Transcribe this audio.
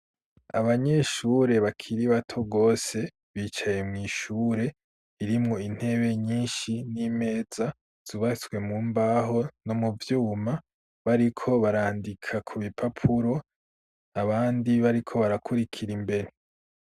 Abanyeshure bakiri bato gose, bicaye mw'Ishure irimwo intebe nyinshi, n'imeza, zubatswe mu mbaho ,no mu vyuma ,bariko barandika ku bipapuro ,abandi bariko barakurikira imbere.